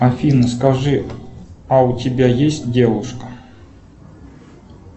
афина скажи а у тебя есть девушка